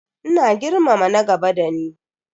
Ina girmama na gaba dani.